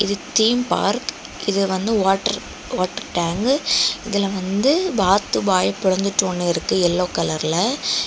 சுத்தியும் பார்க் இது வந்து வாட்டர் வாட்டர் டேங்கு இதுல வந்து வாத்து வாய பொளந்துட்டு ஒன்னு இருக்கு எல்லோ கலர்ல .